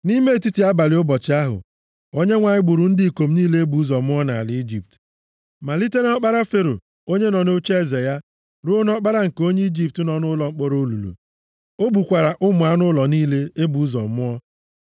Nʼime etiti abalị ụbọchị ahụ, Onyenwe anyị gburu ndị ikom niile e bụ ụzọ mụọ nʼala Ijipt, malite nʼọkpara Fero onye nọ nʼocheeze ya, ruo nʼọkpara nke onye Ijipt nọ nʼụlọ mkpọrọ olulu. O gbukwara ụmụ anụ ụlọ niile e bụ ụzọ mụọ.